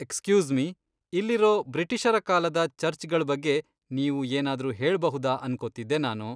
Excuse me, ಇಲ್ಲಿರೋ ಬ್ರಿಟಿಷರ ಕಾಲದ ಚರ್ಚ್ಗಳ್ ಬಗ್ಗೆ ನೀವು ಏನಾದ್ರೂ ಹೇಳ್ಬಹುದಾ ಅನ್ಕೊತಿದ್ದೆ ನಾನು.